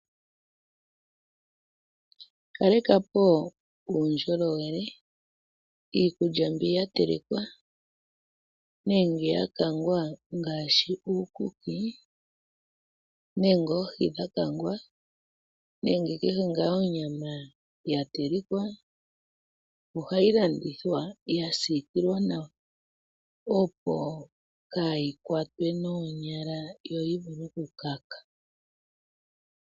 Kaleka po uundjolowele, iikulya mbi ya telekwa nenge ya kangwa ngaashi uukuki nenge oohi dha kangwa, nenge kehe ngaa onyama ya telekwa ohayi landithwa ya siikilwa nawa, opo kaa yi kwatwe noonyala yo yi vule oku kaka.